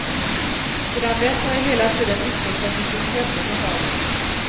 Sedan dess har jag hela tiden utvecklat mitt intresse för havet.